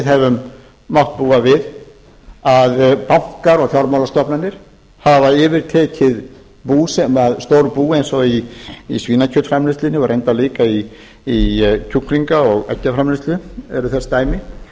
höfum mátt búa við að bankar og fjármálastofnanir hafa yfirtekið stór bú eins og í svínakjötsframleiðslunni og reyndar líka í kjúklinga og eggjaframleiðslu eru þess dæmi þá